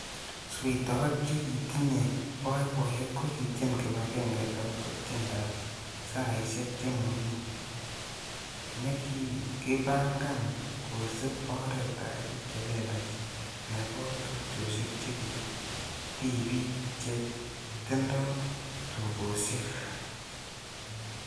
Sweitoik chekitinye boiboiyet kokitien kibagenge agobo tiendab saisiek che momi nekikipangan kosiib oretab bik chelelach nebo tupchosiek che tibiik che tindo tugosiek.